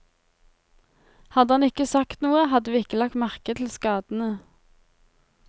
Hadde han ikke sagt noe, hadde vi ikke lagt merke til skadene.